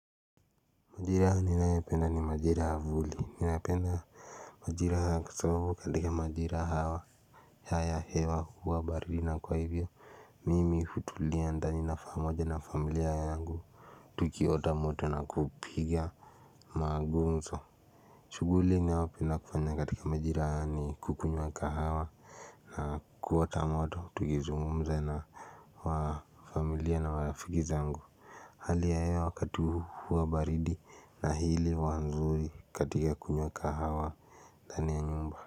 Majira ninayoipenda ni majira ya vuli ninapenda majira haya katika majira hawa ya ya hewa huwa baridi na kwa ivyo Mimi hutulia ndani na famoja na familia yangu tukiota moto na kupiga Magumzo shuguli nayopenda kufanya katika majira haya ni kukunywa kahawa na kuota moto tukizungumza na wa familia na marafiki zangu Hali ya hewa wakatu huu huwa baridi na hili huwa nzuri katika kunywa kahawa ndani ya nyumba.